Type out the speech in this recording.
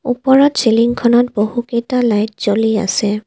ওপৰত চিলিংখনত বহুত কেইটা লাইট জ্বলি আছে।